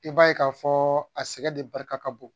I b'a ye k'a fɔ a sɛgɛn de barika ka bon